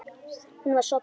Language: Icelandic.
Hún var sofnuð.